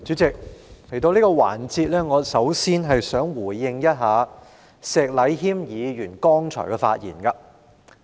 主席，來到這個環節，首先我想回應石禮謙議員剛才的發言。